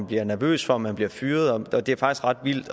bliver nervøs for om man bliver fyret det er faktisk ret vildt